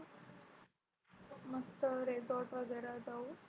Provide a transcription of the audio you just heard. मस्त Resort वगैरे जाऊ